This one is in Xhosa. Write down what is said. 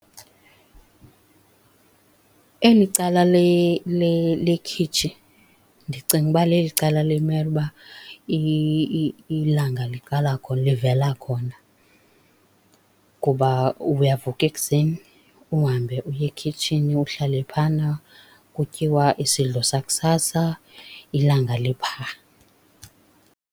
Eli cala lekhitshi ndicinga uba leli cala limele uba ilanga liqala khona, livela khona kuba uyavuka ekuseni uhambe uye ekhitshini uhlale phana, kutyiwa isidlo sakusasa, ilanga lipha.